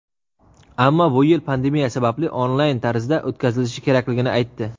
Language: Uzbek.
ammo bu yil pandemiya sababli onlayn tarzda o‘tkazilishi kerakligini aytdi.